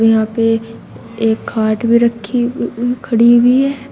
यहाँ पे एक खाट भी रखी उ खड़ी हुई है।